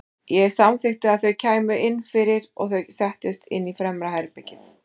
Ég samþykkti að þau kæmu inn fyrir og þau settust inn í fremra herbergið.